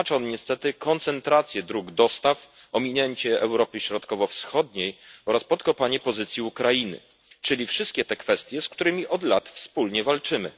Oznacza on niestety koncentrację dróg dostaw, ominięcie Europy Środkowo Wschodniej oraz podkopanie pozycji Ukrainy, czyli wszystkie te kwestie, z którymi od lat wspólnie walczymy.